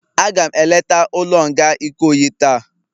Aga m eleta ulo nga Ikoyi taa